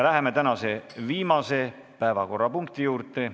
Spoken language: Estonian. Läheme tänase viimase päevakorrapunkti juurde.